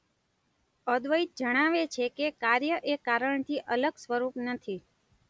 અદ્વૈત જણાવે છે કે કાર્ય એ કારણથી અલગ સ્વરૂપ નથી.